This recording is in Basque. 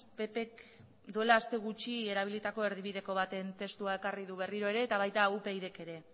ppk duela aste gutxi erabilitako erdibideko baten testua ekarri du berriro ere eta baita upydk ere